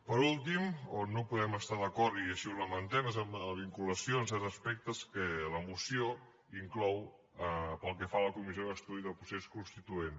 per últim on no podem estar d’acord i així ho lamentem és amb la vinculació en certs aspectes que la moció inclou pel que fa a la comissió d’estudi del procés constituent